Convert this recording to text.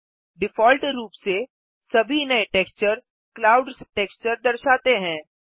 default रूप से सभी नये टेक्सचर्स क्लाउड्स टेक्सचर दर्शाते हैं